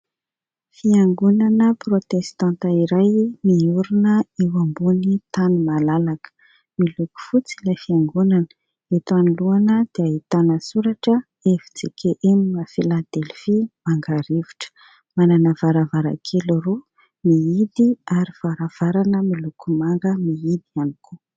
Fiangonana Protestanta iray miorina eo ambony tany malalaka. Miloko fotsy ilay fiangonana, eto anoloana dia ahitana soratra FJKM Filadelfia Mangarivotra. Manana varavarankely roa mihidy ary varavarana miloko manga mihidy ihany koa.